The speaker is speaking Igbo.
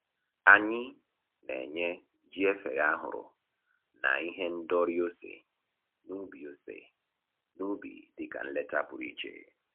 Anyị na-enye jiefeghe ahụrụ na ihe ndori ose n'ubi ose n'ubi dịka nleta pụrụ iche